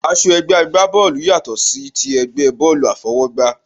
Aṣọ ẹgbẹ́ àgbá bọ́ọ̀lù yàtò sí ti ẹgbẹ́ bọ́ọ̀lù àfọwọ́gbá